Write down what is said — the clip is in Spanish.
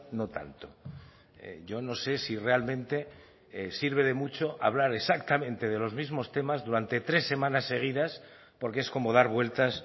no tanto yo no sé si realmente sirve de mucho hablar exactamente de los mismos temas durante tres semanas seguidas porque es como dar vueltas